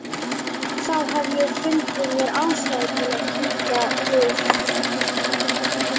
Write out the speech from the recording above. Þá hef ég fundið mér ástæðu til að kíkja við.